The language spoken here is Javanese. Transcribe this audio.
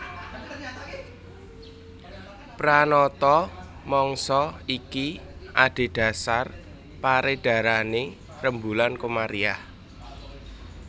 Pranata mangsa iki adhedhasar perédharané rembulan Komariah